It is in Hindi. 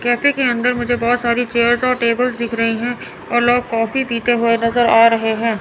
कैफे के अंदर मुझे बहोत सारी चेयर्स और टेबल दिख रही है और लोग कॉफी पीते हुए नजर आ रहे हैं।